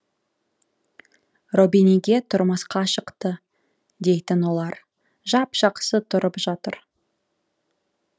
робиниге тұрмысқа шықты дейтін олар жап жақсы тұрып жатыр